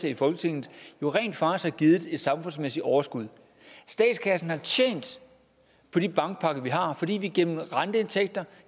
i folketinget rent faktisk har givet et samfundsmæssigt overskud statskassen har tjent på de bankpakker vi har fordi vi gennem renteindtægter